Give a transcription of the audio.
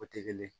O tɛ kelen ye